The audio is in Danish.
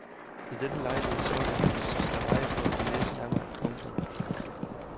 Ved denne lejlighed snuppede han det sidste rejebrød for næsen af mig. punktum